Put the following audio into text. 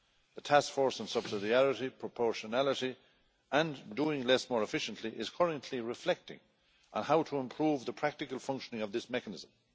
The task force on subsidiarity, proportionality and doing less more efficiently is currently reflecting on how to improve the practical functioning of this mechanism.